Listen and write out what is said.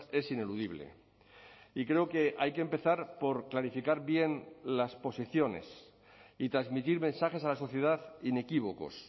es ineludible y creo que hay que empezar por clarificar bien las posiciones y transmitir mensajes a la sociedad inequívocos